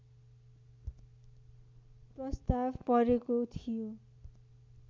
प्रस्ताव परेको थियो